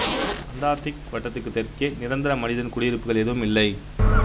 Antarctic வட்டத்துக்குத் தெற்கே நிரந்தர மனிதக் குடியிருப்புகள் எதுவும் இல்லை